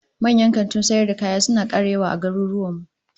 Manyan kantunan sayar da kaya suna kara yawa a garuruwan mu